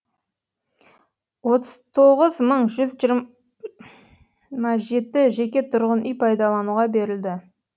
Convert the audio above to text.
отыз тоғыз мың жүз жиырма жеті жеке тұрғын үй пайдалануға берілді